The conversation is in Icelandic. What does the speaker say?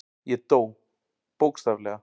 Ég dó, bókstaflega.